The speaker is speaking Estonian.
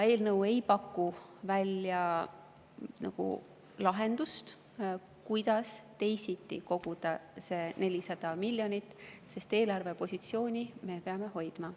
Eelnõu ei paku välja lahendust, kuidas teisiti koguda see 400 miljonit, aga eelarvepositsiooni me peame hoidma.